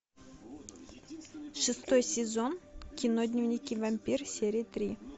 шестой сезон кино дневники вампира серия три